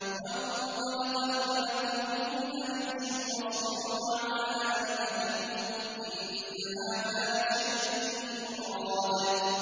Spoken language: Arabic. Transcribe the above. وَانطَلَقَ الْمَلَأُ مِنْهُمْ أَنِ امْشُوا وَاصْبِرُوا عَلَىٰ آلِهَتِكُمْ ۖ إِنَّ هَٰذَا لَشَيْءٌ يُرَادُ